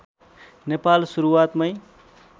Nepal सुरुवातमै